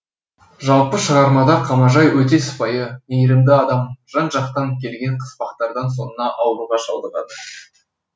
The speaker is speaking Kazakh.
жалпы шығармада қамажай өте сыпайы мейірімді адам жан жақтан келген қыспақтардан соңына ауруға шалдығады